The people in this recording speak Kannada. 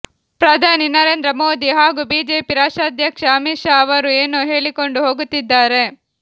ಪ್ರಧಾನಿ ನರೇಂದ್ರ ಮೋದಿ ಹಾಗೂ ಬಿಜೆಪಿ ರಾಷ್ಟ್ರಾಧ್ಯಕ್ಷ ಅಮಿತ್ ಶಾ ಅವರು ಏನೋ ಹೇಳಿಕೊಂಡು ಹೋಗುತ್ತಿದ್ದಾರೆ